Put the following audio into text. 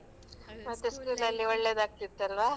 School ಅಲ್ಲಿ ಒಳ್ಳೇದಾಗ್ತಿತ್ತಲ್ವಾ?